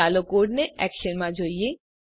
ચાલો કોડને એક્શનમાં જોઈએ